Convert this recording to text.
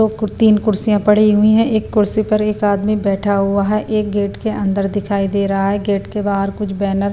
तीन कुर्सियाँ पड़ी हुई हैं एक कुर्सी पर एक आदमी बैठा हुआ है एक गेट के अंदर दिखाई दे रहा है गेट के बाहर कुछ बैनर --